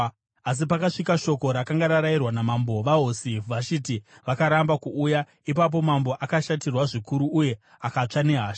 Asi pakasvika shoko rakanga rarayirwa namambo, vaHosi Vhashiti vakaramba kuuya. Ipapo mambo akashatirwa zvikuru uye akatsva nehasha.